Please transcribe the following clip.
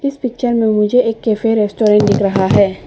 इस पिक्चर में मुझे एक कैफे रेस्टोरेंट दिख रहा है।